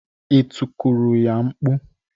Ị tikuru ya mkpu?